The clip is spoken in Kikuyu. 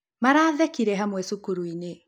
Marathekĩre hamwe cukuruini.